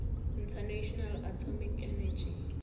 international atomic energy